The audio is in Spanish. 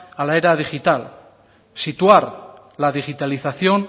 a la era digital situar la digitalización